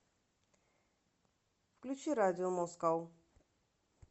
включи радио москоу